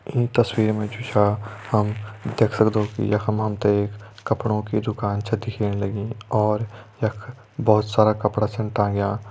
ईं तस्वीर मा जु छा हम देख सक्दों कि यखम हम ते एक कपड़ों कि दुकान छा दिखेण लगीं और यख बहोत सारा कपड़ा छन टांग्यां।